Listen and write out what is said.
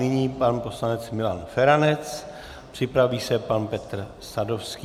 Nyní pan poslanec Milan Feranec, připraví se pan Petr Sadovský.